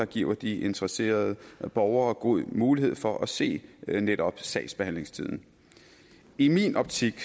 giver de interesserede borgere god mulighed for at se netop sagsbehandlingstiden i min optik